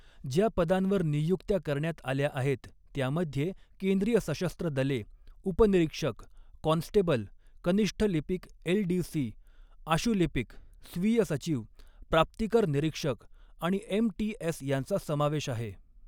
ज्या पदांवर निय़ुक्त्या करण्यात आल्या आहेत, त्यामध्ये केंद्रीय सशस्त्र दले, उपनिरीक्षक, कॉन्स्टेबल, कनिष्ठ लिपीक एलडीसी, आशुलिपीक, स्वीय सचिव, प्राप्तीकर निरीक्षक आणि एमटीएस यांचा समावेश आहे.